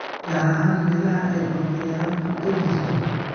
gaar ahaan meelaha ay cunto yaraantu ka jirto.